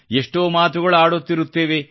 ಎಷ್ಟೋ ಮಾತುಗಳು ಆಡುತ್ತಿರುತ್ತೇವೆ